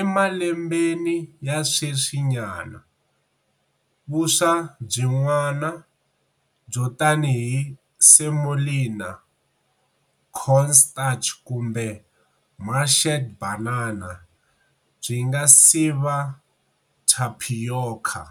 Emalembeni ya sweswinyana, vuswa byin'wana, byo tanihi semolina, cornstarch kumbe mashed banana, byi nga siva tapioca.